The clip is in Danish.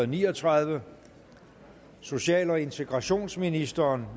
ni og tredive social og integrationsministeren